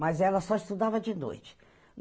Mas ela só estudava de noite.